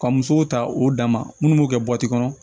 Ka musow ta o dama minnu b'u kɛ kɔnɔ